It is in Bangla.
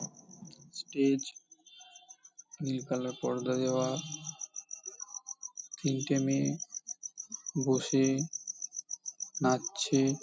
স্টেজ নীল কালার পর্দা দেওয়া তিনটে মেয়ে বসে-এ নাচ ছে-এ ।